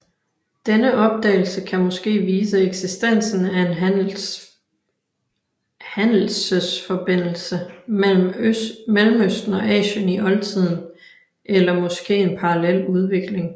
Denne opdagelse kan måske vise eksistensen af en handelsesforbindelse mellem Mellemøsten og Asien i oltiden eller måske en parallel udvikling